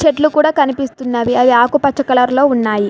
చెట్లు కూడా కనిపిస్తున్నవి అది ఆకుపచ్చ కలర్లో ఉన్నాయి.